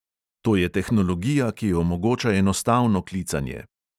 To je tehnologija, ki omogoča enostavno klicanje.